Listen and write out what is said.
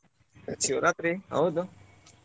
ಶಿವರಾತ್ರಿ ಹೌದು.